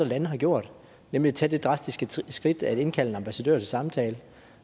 lande har gjort nemlig at tage det drastiske skridt at indkalde en ambassadør til samtale